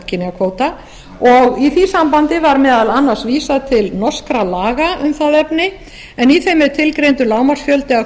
kynjakvóta og í því sambandi var meðal annars vísað til norskra laga um það efni en í þeim er tilgreindur lágmarksfjöldi af